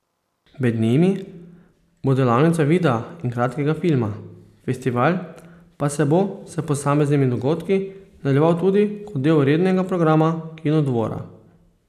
Med njimi bo delavnica videa in kratkega filma, festival pa se bo s posameznimi dogodki nadaljeval tudi kot del rednega programa Kinodvora.